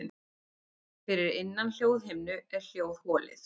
Fyrir innan hljóðhimnu er hljóðholið.